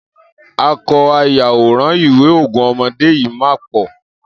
Akọ ayàwòrán ìwé Ogún Ọmọdé yìí máa ń pọ̀.